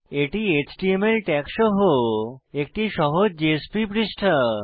এটি HTML tag সহ একটি সহজ জেএসপি পৃষ্ঠা